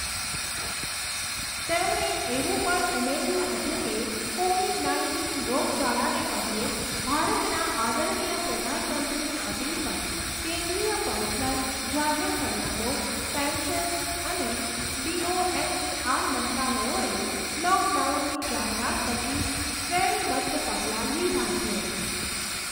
તેમણે એવું પણ ઉમેર્યું હતું કે, કોવિડ નાઇન્ટીન રોગચાળાને પગલે ભારતના આદરણીય પ્રધાનમંત્રીની અપીલ પર કેન્દ્રીય પર્સનલ, જાહેર ફરિયાદો, પેન્શન અને ડીઓએનઇઆર મંત્રાલયોએ લોકડાઉનની જાહેરાત પછી શ્રેણીબદ્ધ પગલાં લીધા છે.